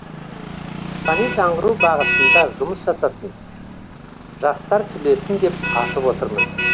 рухани жаңғыру бағытында жұмыс жасасын жастар түлесін деп ашып отырмыз